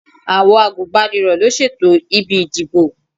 Àwọn àgùnbánirọ̀ ló ṣètò ibi ìdìbò.